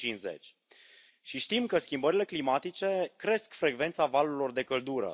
2050. Știm că schimbările climatice cresc frecvența valurilor de căldură.